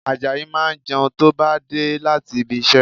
Àjàyí máa jẹun tó bá dé láti ibi iṣẹ́